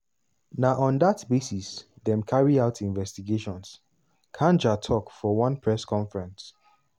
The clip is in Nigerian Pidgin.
"na on dat basis dem carry out investigations" kanja tok for one press conference.